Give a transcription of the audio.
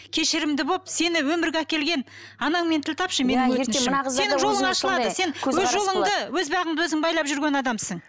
кешірімді болып сені өмірге әкелген анаңмен тіл тапшы сенің жолың ашылады сен өз жолыңды өз бағыңды өзің байлап жүрген адамсың